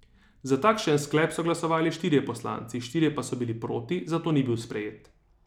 Za takšen sklep so glasovali štirje poslanci, štirje pa so bili proti, zato ni bil sprejet.